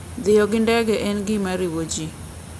Dhiyo gi ndege en gima riwo ji.